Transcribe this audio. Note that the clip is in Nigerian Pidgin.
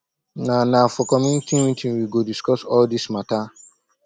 na na for community meeting we go discuss all dis mata